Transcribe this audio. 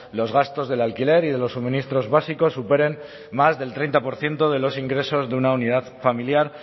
los gastos del alquiler y de los suministros básicos superen más del treinta por ciento de los ingresos de una unidad familiar